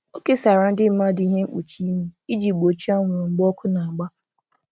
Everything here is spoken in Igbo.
O kesara ndị mmadụ ihe mkpuchi imi iji gbochie anwụrụ mgbe ọkụ na-agba.